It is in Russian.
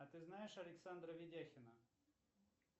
а ты знаешь александра ведяхина